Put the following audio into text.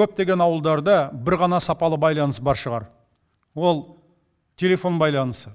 көптеген ауылдарда бір ғана сапалы байланыс бар шығар ол телефон байланысы